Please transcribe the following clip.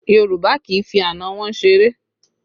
Yorùbá kì í fi àna wọn ṣeré